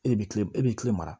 E de bɛ kilen e bɛ kilen mara